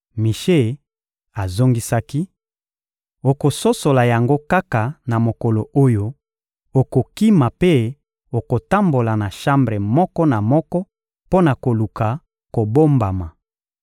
Mishe azongisaki: — Okososola yango kaka na mokolo oyo okokima mpe okotambola na shambre moko na moko mpo na koluka kobombama.